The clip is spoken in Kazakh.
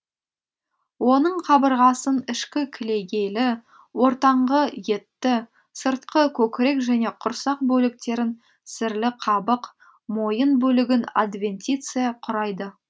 оның қабырғасын ішкі кілегейлі ортаңғы етті сыртқы көкірек және құрсақ бөліктерін сірлі қабық мойын бөлігін адвентиция құрайды